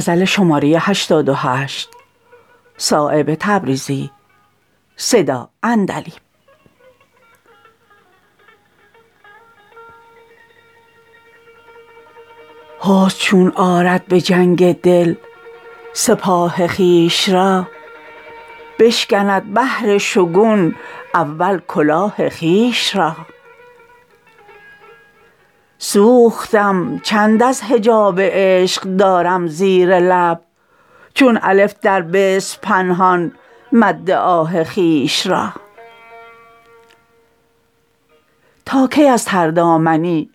حسن چون آرد به جنگ دل سپاه خویش را بشکند بهر شگون اول کلاه خویش را سوختم چند از حجاب عشق دارم زیر لب چون الف در بسم پنهان مد آه خویش را تا کی از تر دامنی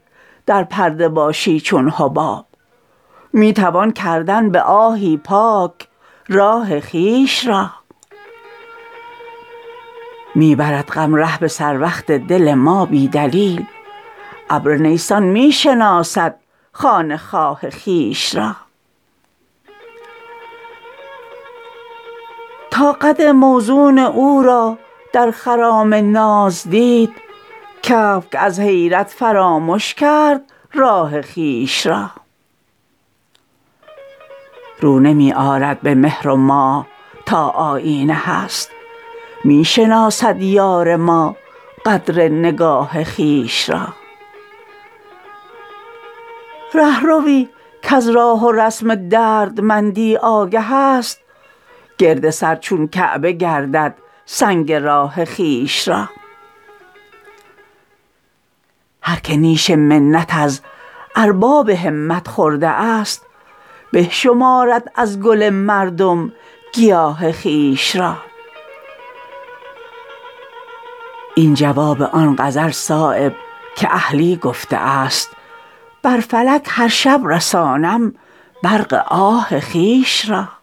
در پرده باشی چون حباب می توان کردن به آهی پاک راه خویش را می برد غم ره به سر وقت دل ما بی دلیل ابر نیسان می شناسد خانه خواه خویش را تا قد موزون او را در خرام ناز دید کبک از حیرت فرامش کرد راه خویش را رو نمی آرد به مهر و ماه تا آیینه هست می شناسد یار ما قدر نگاه خویش را رهروی کز راه و رسم دردمندی آگه است گرد سر چون کعبه گردد سنگ راه خویش را هر که نیش منت از ارباب همت خورده است به شمارد از گل مردم گیاه خویش را این جواب آن غزل صایب که اهلی گفته است بر فلک هر شب رسانم برق آه خویش را